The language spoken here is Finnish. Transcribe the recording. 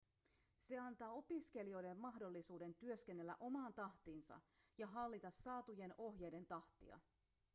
se antaa opiskelijoille mahdollisuuden työskennellä omaan tahtiinsa ja hallita saatujen ohjeiden tahtia